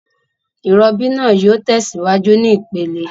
Ìrobí naa yio tèsíwájú ní ìpele